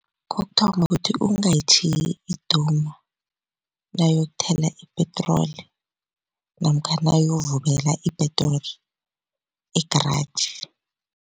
Kokuthoma kuthi ungayitjhiyi iduma nawuyokuthela ipetroli namkha nawuyovubela ipetroli egaraji.